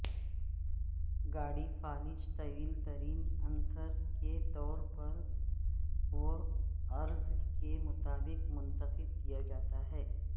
گاڑی فالج طویل ترین عنصر کے طول و عرض کے مطابق منتخب کیا جاتا ہے